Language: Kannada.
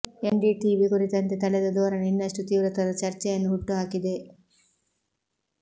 ಎನ್ ಡಿ ಟಿವಿ ಕುರಿತಂತೆ ತಳೆದ ಧೋರಣೆ ಇನ್ನಷ್ಟು ತೀವ್ರತರದ ಚರ್ಚೆಯನ್ನು ಹುಟ್ಟುಹಾಕಿದೆ